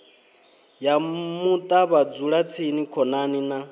ya muṱa vhadzulatsini khonani na